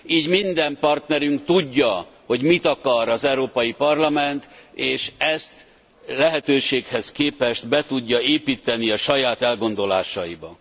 Így minden partnerünk tudja, hogy mit akar az Európai Parlament és ezt lehetőséghez képest be tudja építeni a saját elgondolásaiba.